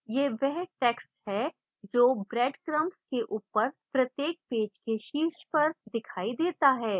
यह वह text है जो breadcrumbs के ऊपर प्रत्येक पेज के शीर्ष पर दिखाई देता है